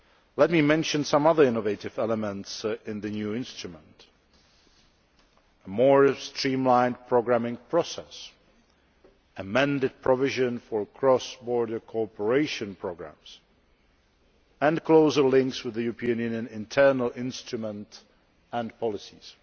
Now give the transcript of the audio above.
Let me mention some other innovative elements in the new instrument a more streamlined programming process, amended provision for cross border cooperation programmes, and closer links with the European Union internal instruments and policies.